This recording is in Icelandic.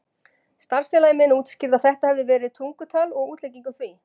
Starfsfélagi minn útskýrði að þetta hefði verið tungutal og útlegging á því.